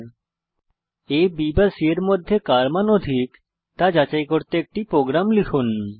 আ b বা c এর মধ্যে কার মান অধিক তা যাচাই করতে একটি প্রোগ্রাম লিখুন